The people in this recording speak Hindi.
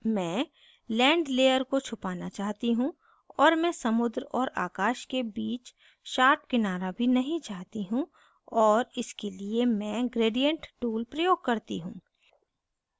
मैं land layer को छुपाना चाहती हूँ और मैं समुद्र और आकाश के बीच sharp किनारा भी नहीं चाहती हूँ और इसके लिए मैं gradient tool प्रयोग करती हूँ